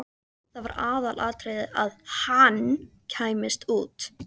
Það var aðalatriðið að HANN kæmist út!